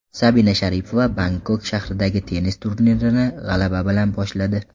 Sabina Sharipova Bangkok shahridagi tennis turnirini g‘alaba bilan boshladi.